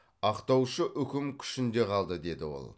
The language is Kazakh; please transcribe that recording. ақтаушы үкім күшінде қалды деді ол